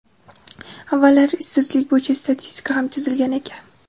Avvallari ishsizlik bo‘yicha statistika ham chizilgan ekan.